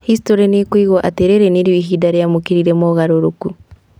Historĩ nĩkũigwo atĩ rĩrĩ nĩrĩo ihinda rĩamũkĩrire moogarũrũku